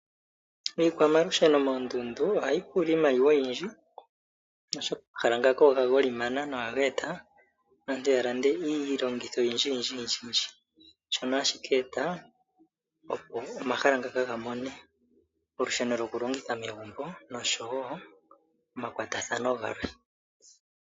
Iikwamalusheno moondundu ohayi pula iimaliwa oyindji oshoka omahala ngaka ogagolimana na ohaga eta aantu yalande iilongitho oyindjiyindjiyindji shono hashi ka eta opo omahala ngaka gamone olusheno lokulongitha megumbo noshowo omakwatathano galwe.